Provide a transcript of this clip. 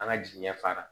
An ka jigiɲɛ fara